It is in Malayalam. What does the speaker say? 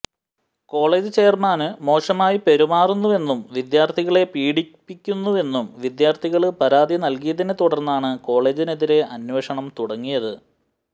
കോളേജ് ചെയര്മാന് മോശമായി പെരുമാറുന്നുവെന്നും വിദ്യാര്ത്ഥികളെ പീഡിപ്പിക്കുന്നുവെന്നും വിദ്യാര്ത്ഥികള് പരാതി നല്കിയതിനെ തുടര്ന്നാണ് കോളേജിനെതിരെ അന്വേഷണം തുടങ്ങിയത്